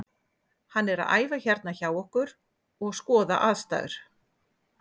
Hann er að æfa hérna hjá okkur og skoða aðstæður.